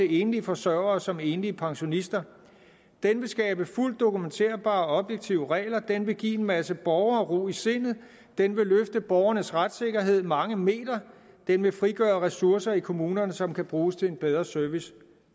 enlige forsørgere som enlige pensionister den vil skabe fuldt dokumenterbare objektive regler den vil give en masse borgere ro i sindet den vil løfte borgernes retssikkerhed mange meter den vil frigøre ressourcer i kommunerne som kan bruges til en bedre service